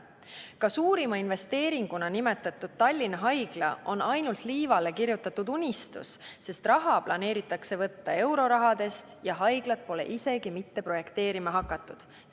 Ka suurima investeeringuna nimetatud Tallinna Haigla on ainult liivale kirjutatud unistus, sest raha planeeritakse võtta eurosummadest ja haiglat pole isegi mitte projekteerima hakatud.